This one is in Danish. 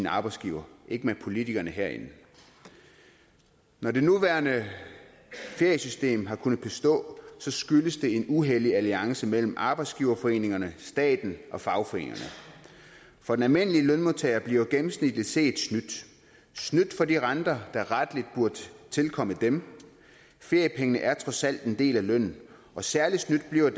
arbejdsgiver ikke med politikerne herinde når det nuværende feriesystem har kunnet bestå skyldes det en uhellig alliance mellem arbejdsgiverforeningerne staten og fagforeningerne for de almindelige lønmodtagere bliver gennemsnitligt set snydt snydt for de renter der rettelig burde tilkomme dem feriepengene er trods alt en del af lønnen og særlig snydt bliver